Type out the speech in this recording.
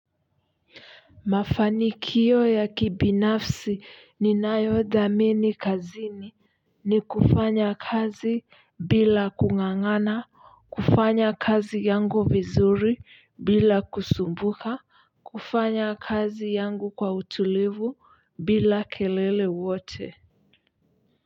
Mafanikio ya kibinafsi ninayodhamini kazini ni kufanya kazi bila kung'ang'ana kufanya kazi yangu vizuri bila kusumbuka kufanya kazi yangu kwa utulivu bila kelele wote.